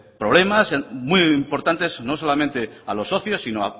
problemas muy importantes no solamente a los socios sino